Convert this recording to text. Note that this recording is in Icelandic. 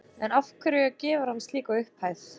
En af hverju gefur hann slíka upphæð?